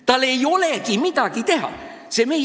Tal ei olegi midagi teha!